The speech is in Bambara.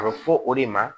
A bɛ fɔ o de ma